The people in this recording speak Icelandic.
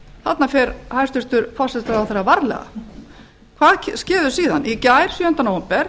þarna fer hæstvirtur forsætisráðherra varlega hvað skeður síðan í gær sjöunda nóvember